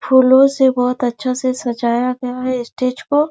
फूलो से बोहोत अच्छा से सजाया गया है स्टेज को --